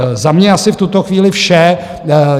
Za mě asi v tuto chvíli vše.